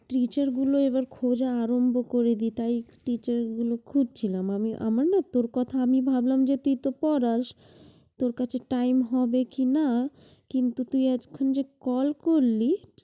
Teacher গুলো এবার খোঁজা আরম্ভ করে দেয় তাই teacher গুলো খুঁজছিলাম। আমি~ আমার না তোর কথা আমি ভাবলাম যে তুই তো পড়াস, তোর কাছে time হবে কিনা, কিন্তু তুই এতক্ষণ যে call করলি